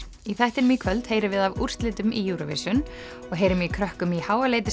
í þættinum í kvöld heyrum við af úrslitum í Eurovision og heyrum í krökkum í